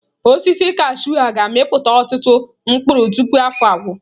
Osisi kashụụ a ga-amịpụta ọtụtụ mkpụrụ tupu afọ agwụ.